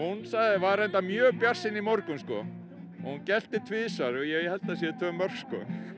var reyndar mjög bjartsýn í morgun hún gelti tvisvar og ég held að það séu tvö mörk